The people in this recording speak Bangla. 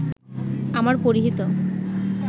আমার পরিহিত